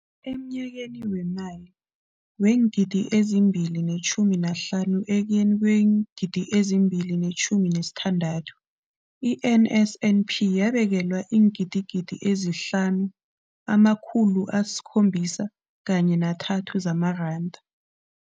Emnyakeni weemali weengidi ezi-2 ne-15 ekuyeni kweengidi ezi-2 ne-16, i-NSNP yabekelwa iingidigidi ezi-5 703 zamaranda.